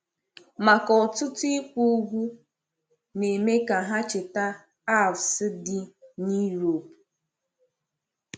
Maka ọtụtụ, ikwu ugwu na-eme ka ha cheta Alps dị n’Europe.